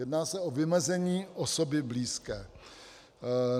Jedná se o vymezení osoby blízké.